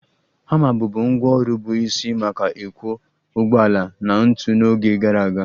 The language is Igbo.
Hama bụbu ngwá ọrụ bụ isi maka ịkwọ ụgbọala na ntu n'oge gara aga